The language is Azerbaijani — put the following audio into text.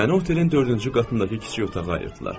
Mənə otelin dördüncü qatındakı kiçik otağa ayırdılar.